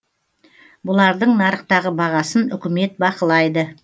бұлардың нарықтағы бағасын үкімет бақылайды